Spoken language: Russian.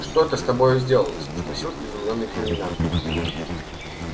что то с тобою сделалось спросил изумлённый комендант